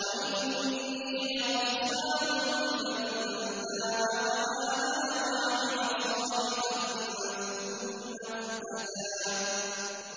وَإِنِّي لَغَفَّارٌ لِّمَن تَابَ وَآمَنَ وَعَمِلَ صَالِحًا ثُمَّ اهْتَدَىٰ